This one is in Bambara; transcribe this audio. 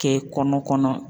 Kɛ kɔnɔ kɔnɔ.